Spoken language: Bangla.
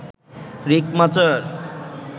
রিক মাচার